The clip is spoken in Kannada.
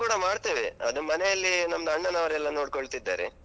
ಕೂಡ ಮಾಡ್ತೇವೆ ಅದು ಮನೆಯಲ್ಲಿ ನಮ್ದು ಅಣ್ಣನವರೆಲ್ಲ ನೋಡ್ಕೊಳ್ತಿದ್ದಾರೆ.